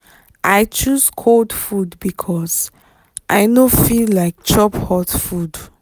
i choose cold food because i no feel like chop hot food.